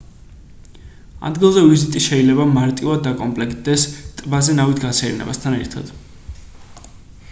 ადგილზე ვიზიტი შეიძლება მარტივად დაკომპლექტდეს ტბაზე ნავით გასეირნებასთან ერთად